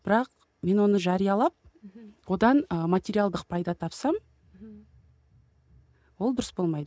бірақ мен оны жариялап мхм одан ы материалдық пайда тапсам мхм ол дұрыс болмайды